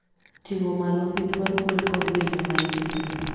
Tingo malo pith mar gwen kod winy ma ipidho.